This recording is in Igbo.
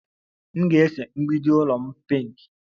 M ga-ese mgbidi ụlọ m pinki